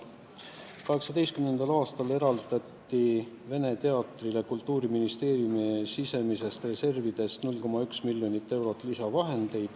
2018. aastal eraldati Vene Teatrile Kultuuriministeeriumi sisemistest reservidest 0,1 miljonit eurot lisaraha.